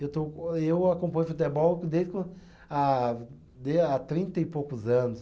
Eu estou, eu acompanho futebol que desde co, ah há trinta e poucos anos.